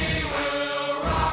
já